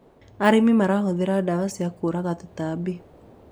arĩmi marahuthira ndawa cia kuuraga tũtambi